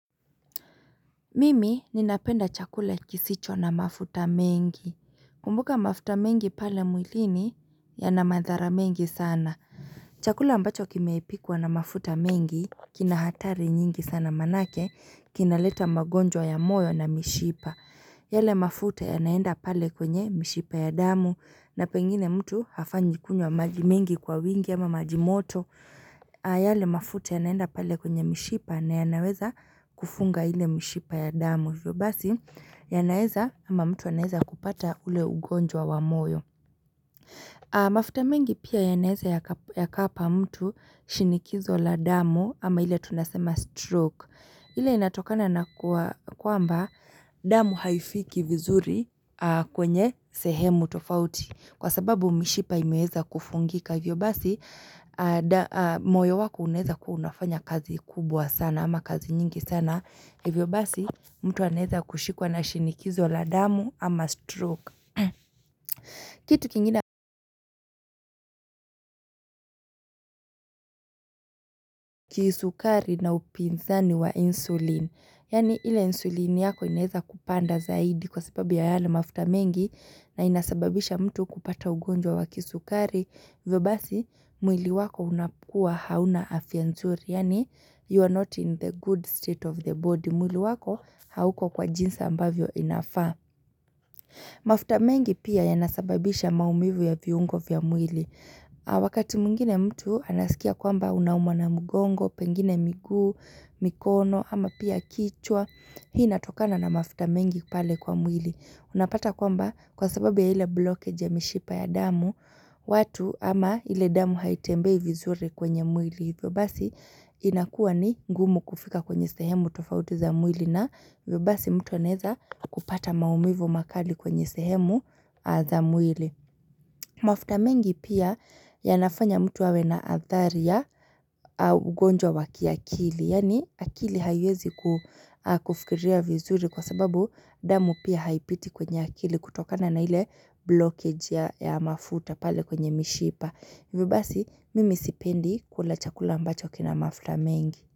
Mimi ninapenda chakula kisicho na mafuta mengi Kumbuka mafuta mengi pale mwilini yana madhara mengi sana Chakula ambacho kimepikwa na mafuta mengi kina hatari nyingi sana maqnake kinaleta magonjwa ya moyo na mishipa yale mafuta yanaenda pale kwenye mishipa ya damu na pengine mtu hafanyi kunywa maji mingi kwa wingi ama majimoto yale mafuta yanaenda pale kwenye mishipa na yanaweza kufunga ile mishipa ya damu hivyo basi yanaeza ama mtu anaeza kupata ule ugonjwa wa moyo mafuta mengi pia yanaeza yakapa mtu shinikizo la damu ama ile tunasema stroke. Ile inatokana na kwamba damu haifiki vizuri kwenye sehemu tofauti. Kwa sababu mishipa imeweza kufungika. Hivyo basi moyo wako unaeza kuwa unafanya kazi kubwa sana ama kazi nyingi sana. Hivyo basi mtu anaeza kushikwa na shinikizo la damu ama stroke. Kitu kingine kisukari na upinzani wa insulinel Yaani ile insulin yako inaeza kupanda zaidi kwa sababu ya yale mafuta mengi na inasababisha mtu kupata ugonjwa wa kisukari hivyo basi mwili wako unakua hauna afya nzuri Yaani you are not in the good state of the body mwili wako hauko kwa jinsi ambavyo inafaa mafuta mengi pia yanasababisha maumivu ya viungo vya mwili wakati mwingine mtu anasikia kwamba unauma na mgongo pengine miguu, mikono ama pia kichwa hii inatokana na mafuta mengi pale kwa mwili unapata kwamba kwa sababu ya ile blockage ya mishipa ya damu watu ama ile damu haitembei vizuri kwenye mwili hivyo basi inakuwa ni ngumu kufika kwenye sehemu tofauti za mwili na hivyo basi mtu anaeza kupata maumivu makali kwenye sehemu za mwili mafuta mengi pia yanafanya mtu awe na athari ya ugonjwa wa kiakili Yaani akili haiwezi kufikiria vizuri kwa sababu damu pia haipiti kwenye akili kutokana na ile blockage ya mafuta pale kwenye mishipa hivyo basi mimi sipendi kula chakula ambacho kina mafuta mengi.